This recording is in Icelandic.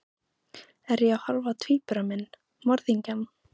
Er ég að horfa á tvíbura minn, morðingjann?